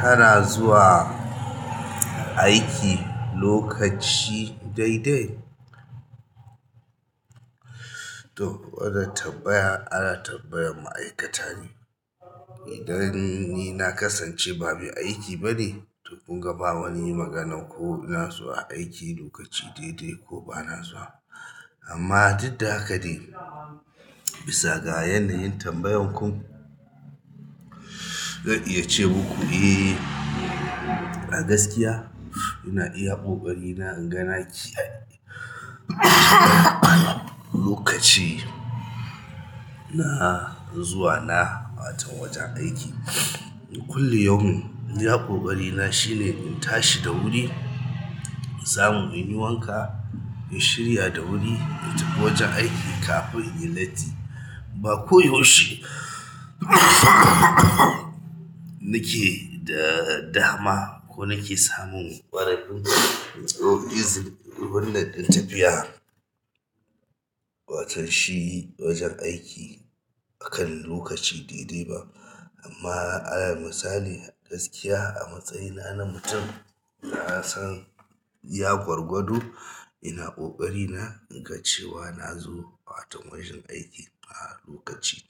Kana zuwa aiki lokaci daidai? To wannan tambaya ana tambayar ma'aikatane idan ni na kasance ba mai aiki ba ne, to kunga ba wani magana ko ina zuwa aiki lokaci daidai ko ba na zuwa. Amman dik da haka dai, bisaga yanayin tambayarku zan iya ce maku. Eh, a gaskiya ina iya ƙoƙarina inga na ki lokaci na zuwa wato wajen aiki. Kullu yaumin iya ƙoƙari na shine in tashi da wuri, samu in yi wanka, in shirya da wuri, in tafi wajen aiki kafin in latti. Ba ko yaushe nake da dama ko nake samun ƙwararru ko izinin wannan ɗan tafiya watan shi wajen aiki akan lokaci daidai ba. Amma alal misali, gaskiya a matsayina na mutun nasan iya gwalgwado ina ƙoƙarina inga cewa nazo wato wajen aikin a lokaci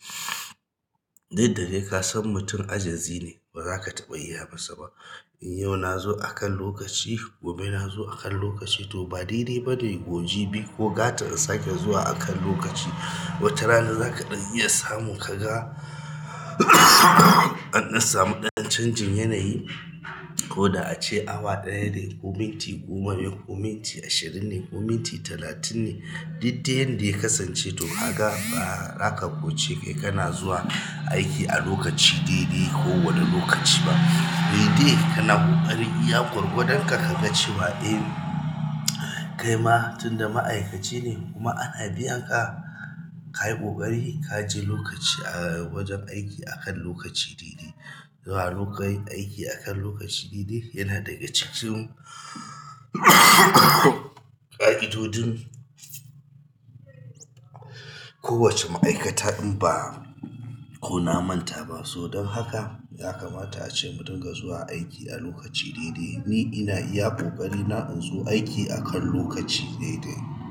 duk da dai ka san mutum ajazi ne, ba zaka taɓa iya masa ba. In yau na zo akan lokaci, gobe na zo akan lokaci to ba dai dai ba dai goji biyu ko gatan in sake zuwa akan lokaci. Wata rana za ka ɗan iya samun ka ga an samu ɗan canjin yanayi ko da ace awa ɗaya ne, ko minti goma ne, ko minti ashirin ne, ko minti talatin ne. Duk da yadda ya kasance to haka ba za ka ƙo ce kai kana zuwa aiki a lokaci daidai ko wani lokaci ba. Kaidai kana ƙoƙarin iya gwargwadon ka ka ga cewa eh kai ma tunda ma'aikaci ne kuma ana biyan ka, ka yi ƙoƙari ka je lokaci a wajen aiki akan lokaci daidai. Zuwa lokacin aiki akan lokaci daidai yana daga cikin ƙa'idodin kowace ma'aikata in ba ko na manta ba. To don haka ya kamata ace mu dunga zuwa aiki a lokaci daidai. Ni ina iya ƙoƙari na in zo aiki akan lokaci daidai.